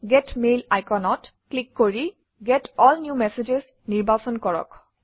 gate mail আইকনত click কৰি get all new messages নিৰ্বাচন কৰক